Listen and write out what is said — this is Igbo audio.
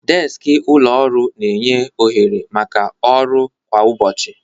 Deskị ụlọ ọrụ na-enye ohere ọrụ maka ọrụ kwa ụbọchị.